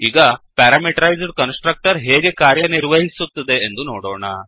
ಈಗ parameterized constructor ಹೇಗೆ ಕಾರ್ಯ ನಿರ್ವಹಿಸುತ್ತದೆ ಎಂದು ನೋಡೋಣ